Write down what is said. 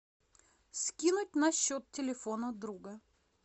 скинуть на счет телефона друга